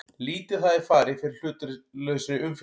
Lítið hafi farið fyrir hlutlausri umfjöllun